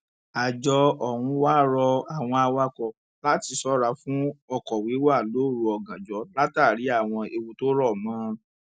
àjọ ọhún wàá rọ àwọn awakọ láti ṣọra fún ọkọ wíwà lóru ọgànjọ látàrí àwọn ewu tó rọ mọ ọn